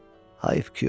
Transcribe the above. hayf ki yoxdur.